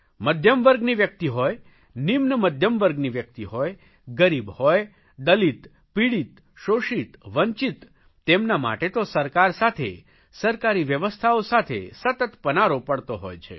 મધ્યમ વર્ગની વ્યકિત હોય નિમ્ન મધ્યમ વર્ગની વ્યકિત હોય ગરીબ હોય દલિત પીડિત શોષિત વંચિત તેમના માટે તો સરકાર સાથે સરકારી વ્યવસ્થાઓ સાથે સતત પનારો પડતો હોય છે